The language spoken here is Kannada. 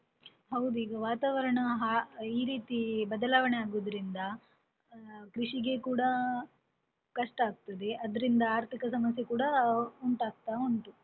ಹೌದು ಈಗ ವಾತಾವರಣ ಈ ರೀತಿ ಬದಲಾವಣೆ ಆಗುದರಿಂದ, ಕೃಷಿಗೆ ಕೂಡ, ಕಷ್ಟಾಗ್ತದೆ ಆದ್ದರಿಂದ ಆರ್ಥಿಕ ಸಮಸ್ಯೆ ಕೂಡ ಉಂಟಾಗ್ತಾ ಉಂಟು.